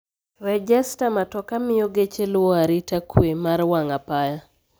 Rejesta matoka miyo geche luwo arita kwee mar wang' apaya